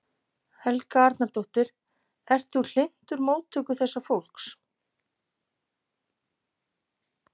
Helga Arnardóttir: Ert þú hlynntur móttöku þessa fólks?